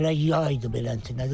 Hələ yay idi belə.